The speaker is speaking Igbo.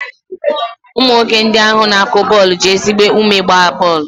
Ụmụ nwoke ndị ahụ na-akụ bọọlụ ji ezigbo ume gbaa bọọlụ.